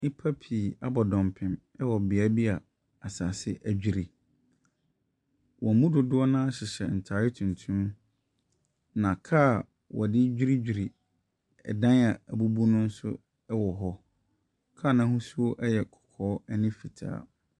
Nnipa pii abɔ dɔmpem wɔ bea bi a asase adwiri. Wɔn mu dodoɔ no ara hyehyɛ ntade tuntum, na kaa a wɔde dwiridwiri dan a abubu no nso wɔ hɔ. Kaa no ahosuo yɛ kɔkɔɔ ne fitaa.